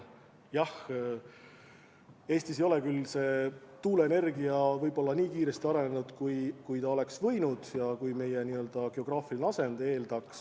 Jah, Eestis ei ole küll tuuleenergia nii kiiresti arenenud, kui oleks võinud ja kui meie geograafiline asend eeldaks.